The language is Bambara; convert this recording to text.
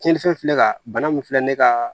Tiɲɛnifɛn filɛ ka bana min filɛ ne ka